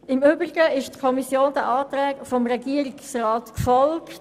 Im Übrigen folgte die Kommission den Anträgen des Regierungsrats.